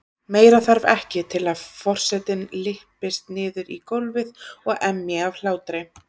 Meira þarf ekki til að forsetinn lyppist niður í gólfið og emji af hlátri.